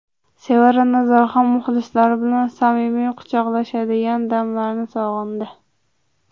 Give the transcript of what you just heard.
Sevara Nazarxon muxlislari bilan samimiy quchoqlashadigan damlarni sog‘indi.